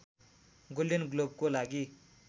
golden ग्लोबको लागि